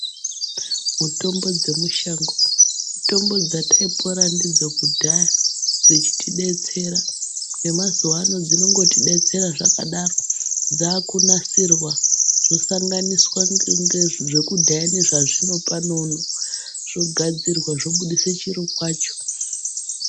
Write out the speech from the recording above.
Mitombo dzemushango mitombo dzataipona ndidzokudhaya dzechitidetsera .Nemazuaano dzinongotidetsera zvakadaro, dzaakunasirwa zvosanganiswa dzekudhaya nedzazvinopano uno zvogadzirwa zvobudise chiro kwacho.